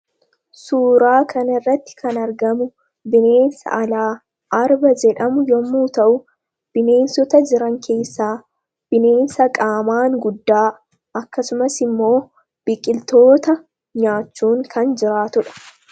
suuraa kan irratti kan argamu bineensa alaa arba jedhamu yommuu ta'u bineensota jiran keessaa bineensa qaamaan guddaa akkasumas immoo biqiltoota nyaachuun kan jiraatudha